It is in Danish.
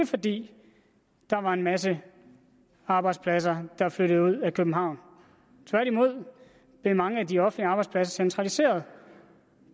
fordi der var en masse arbejdspladser der flyttede ud af københavn tværtimod blev mange af de offentlige arbejdspladser centraliseret